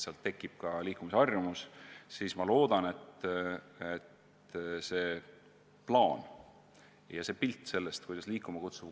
See ei puuduta ju ainult laste, vaid ka täiskasvanute liikumist.